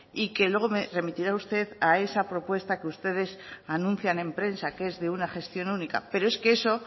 y que luego me remitirá usted a esa propuesta que ustedes anuncian en prensa que es de una gestión única pero es que eso